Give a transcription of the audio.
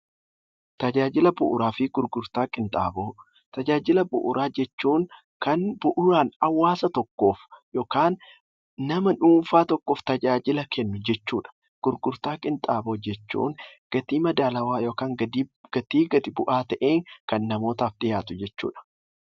Tajaajila bu'uura jechuun kan bu'uuraan hawaasa tokkoof yookiin maatii tokkoof tajaajila kennu jechuudha. Gurgurtaa qinxaaboo jechuun immoo gatii madaalawaa yookiin gatii gadi bu'aa ta'een hawaasaaf kan laatu jechuudha.